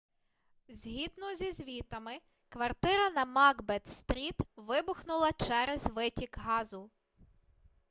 згідно зі звітами квартира на макбет стріт вибухнула через витік газу